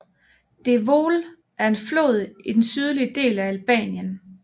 Devoll er en flod i den sydlige del af Albanien